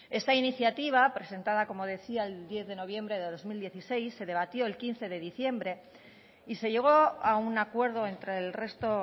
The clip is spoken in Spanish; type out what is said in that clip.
esta iniciativa presentada como decía el diez de noviembre de dos mil dieciséis se debatió el quince de diciembre y se llegó a un acuerdo entre el resto